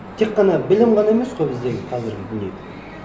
тек қана білім ғана емес қой біздегі қазіргі дүние